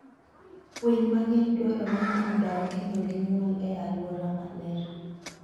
Winy mang'eny dwarore ni odag kendo ginyuol e alwora maler.